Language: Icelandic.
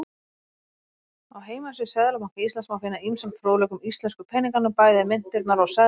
Á heimasíðu Seðlabanka Íslands má finna ýmsan fróðleik um íslensku peningana, bæði myntirnar og seðla.